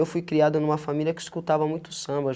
Eu fui criada numa família que escutava muito samba.